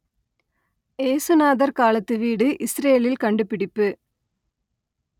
இயேசுநாதர் காலத்து வீடு இசுரேலில் கண்டுபிடிப்பு